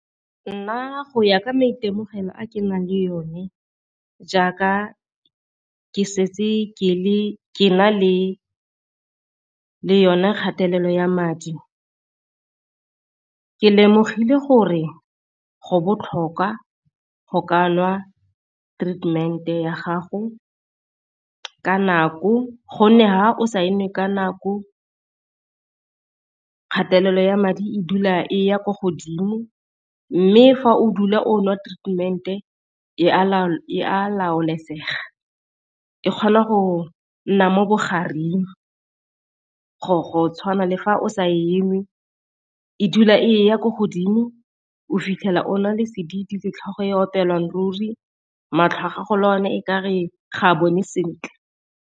Nna go ya ka maitemogelo a ke nang le one jaaka ke setse ke na le yone kgatelelo ya madi, ke lemogile gore go botlhokwa go ka nwa treatment ya gago ka nako gonne ha o sa e nwe ka nako kgatelelo ya madi e dula e ya kwa godimo. Mme fa o dula o nwa treatment-e e a laolesega e kgona go nna mo bogareng go tshwana le fa o sa e nwe e dula e ya ko godimo o fitlhela ona le sedidi le tlhogo e opelang ruri, matlho a gago le one e kare ga a bone sentle.